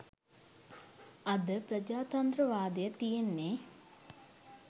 අද ප්‍රජාතන්ත්‍රවාදය තියෙන්නේ